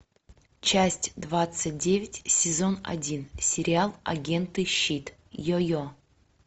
часть двадцать девять сезон один сериал агенты щит йо йо